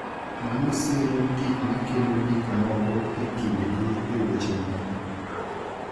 Mano siro gik ma kelo gik moko e kindgi e weche moko.